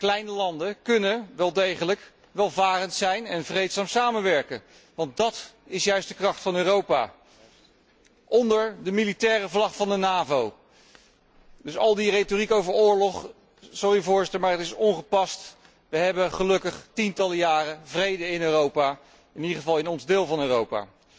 Kleine landen kunnen wel degelijk welvarend zijn en vreedzaam samenwerken want dat is juist de kracht van Europa onder de militaire vlag van de NAVO. Dus al die retoriek over oorlog, sorry Voorzitter, maar die is ongepast. We hebben gelukkig tientallen jaren vrede in Europa, in ieder geval in ons deel van Europa.